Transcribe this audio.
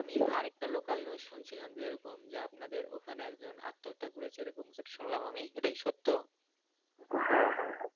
আমি আর একটা local news শুনেছিলাম যে এরকম যে আপনাদের ওখানে একজন আত্মহত্যা করেছে এরকমটা শুনলাম আমি এটা কি সত্য